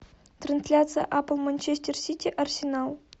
трансляция апл манчестер сити арсенал